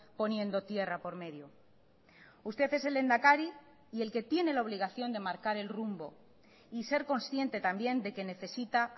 poniendo tierra por medio usted es el lehendakari y el que tiene la obligación de marcar el rumbo y ser consciente también de que necesita